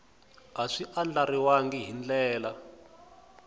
a swi andlariwangi hi ndlela